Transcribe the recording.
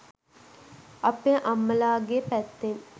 අපේ අම්මලාගේ පැත්තෙන්